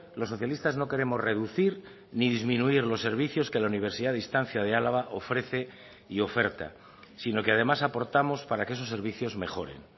los socialistas no queremos reducir ni disminuir los servicios que la universidad de distancia de álava ofrece y oferta sino que además aportamos para que esos servicios mejoren